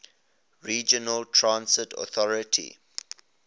regional transit authority